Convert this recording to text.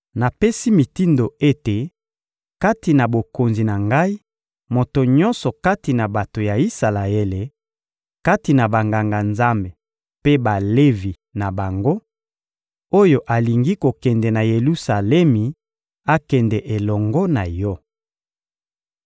Napesi mitindo ete, kati na bokonzi na ngai, moto nyonso kati na bato ya Isalaele, kati na Banganga-Nzambe mpe Balevi na bango, oyo alingi kokende na Yelusalemi akende elongo na yo.